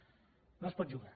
no s’hi pot jugar